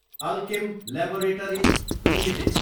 Alkem laboratories Ltd